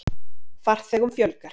Farþegum fjölgar